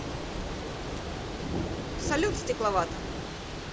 салют стекловата